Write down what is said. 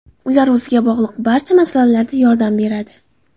Ular o‘ziga bog‘liq barcha masalalarda yordam beradi.